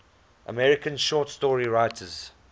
american short story writers